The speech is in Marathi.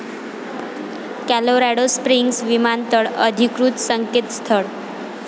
कोलोरॅडो स्प्रिंग्स विमानतळ, अधिकृत संकेतस्थळ